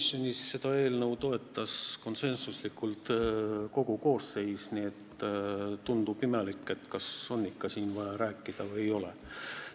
Komisjonis toetas seda eelnõu konsensuslikult kogu koosseis, nii et tekib küsimus, kas on ikka vaja siin veel rääkida või ei ole.